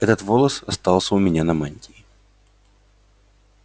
этот волос остался у меня на мантии